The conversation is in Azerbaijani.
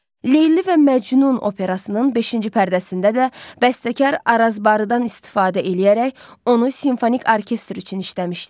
Leyli və Məcnun operasının beşinci pərdəsində də bəstəkar Arazbarıdan istifadə eləyərək onu simfonik orkestr üçün işləmişdi.